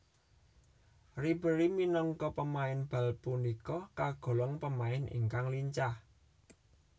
Ribéry minangka pemain bal punika kagolong pemain ingkang lincah